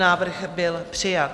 Návrh byl přijat.